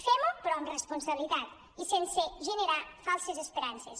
fem·ho però amb responsabilitat i sense generar falses esperan·ces